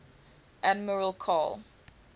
admiral karl